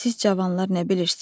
Siz cavanlar nə bilirsiz?